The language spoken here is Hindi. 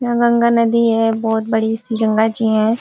यहाँ गंगा नदी है। बहुत बड़ी सी गंगा जी हैं।